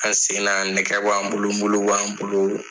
An sen na nɛgɛ b'an bolo mulu b'an bolo.